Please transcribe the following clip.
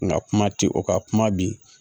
Nka kuma ti o kan kuma bi